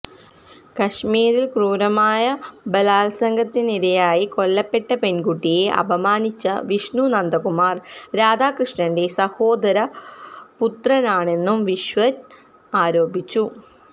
കശ്മീരില് ക്രൂരമായ ബലാല്സംഗത്തിനിരയായി കൊല്ലപ്പെട്ട പെണ്കുട്ടിയെ അപമാനിച്ച വിഷ്ണു നന്ദകുമാര് രാധാകൃഷ്ണന്റെ സഹോദര പുത്രനാണെന്നും വിശ്വന് ആരോപിച്ചു